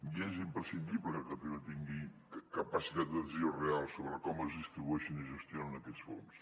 i és imprescindible que catalunya tingui capacitat de decisió real sobre com es distribueixen i es gestionen aquests fons